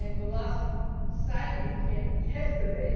the last signing came yesterday.